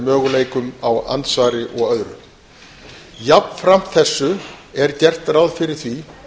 möguleikum á andsvari og eru jafnframt þessu er gert ráð fyrir því